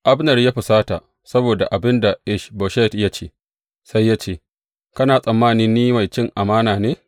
Abner ya husata saboda abin da Ish Boshet ya ce, sai ya ce, Kana tsammani ni mai cin amana ne?